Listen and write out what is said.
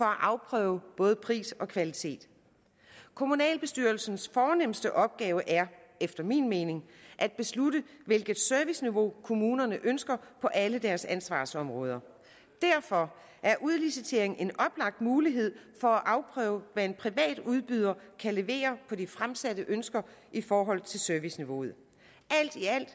afprøve både pris og kvalitet kommunalbestyrelsens fornemste opgave er efter min mening at beslutte hvilket serviceniveau kommunerne ønsker på alle deres ansvarsområder derfor er udlicitering en oplagt mulighed for at afprøve hvad en privat udbyder kan levere på de fremsatte ønsker i forhold til serviceniveauet alt i alt